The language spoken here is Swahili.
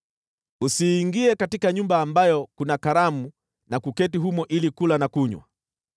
“Usiingie katika nyumba ambayo kuna karamu, na kuketi humo ili kula na kunywa.